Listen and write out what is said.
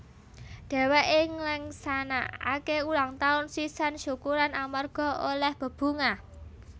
Dhèwèké ngleksanakaké ulang taun sisan syukuran amarga olèh bebungah